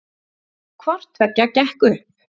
Hvorttveggja gekk upp